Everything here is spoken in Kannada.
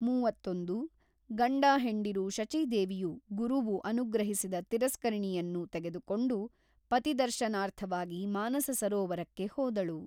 ಮೂವತ್ತೊಂದು ಗಂಡಹೆಂಡಿರು ಶಚೀದೇವಿಯು ಗುರುವು ಅನುಗ್ರಹಿಸಿದ ತಿರಸ್ಕರಣಿಯನ್ನು ತೆಗೆದುಕೊಂಡು ಪತಿದರ್ಶನಾರ್ಥವಾಗಿ ಮಾನಸ ಸರೋವರಕ್ಕೆ ಹೋದಳು.